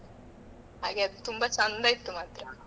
ಹಾಗೆ ಅದು ತುಂಬಾ ಚಂದ ಇತ್ತು ಮಾತ್ರ.